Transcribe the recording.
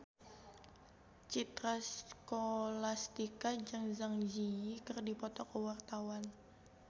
Citra Scholastika jeung Zang Zi Yi keur dipoto ku wartawan